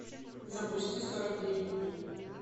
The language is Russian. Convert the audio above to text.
запусти сорок девять дней